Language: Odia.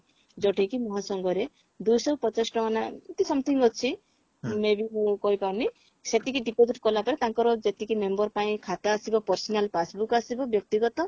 ଯଉଟା କି ମହାସଂଘରେ ଦୁଇଶହ ପଚାଶ ଟଙ୍କା ନା ଏମତି something ଅଛି maybe ମୁଁ କହିପାରୁନି ସେତିକି deposit କଲାପରେ ତାଙ୍କର ଯେତିକି member ପାଇଁ ଖାତା ଆସିବ personal passbook ଆସିବ ବ୍ୟକ୍ତିଗତ